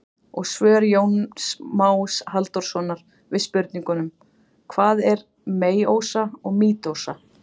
Og svör Jóns Más Halldórssonar við spurningunum: Hvað er meiósa og mítósa?